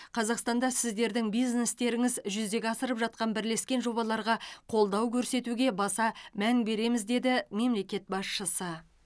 қазақстанда сіздердің бизнестеріңіз жүзеге асырып жатқан бірлескен жобаларға қолдау көрсетуге баса мән береміз деді мемлекет басшысы